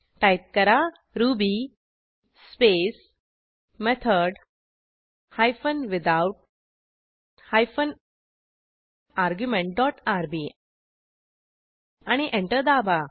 type करा Ruby space method hyphen without hyphen argument dot R B आणि enter दाबा